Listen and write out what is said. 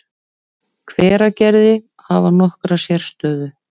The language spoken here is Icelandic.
Hveragerði, hafa nokkra sérstöðu.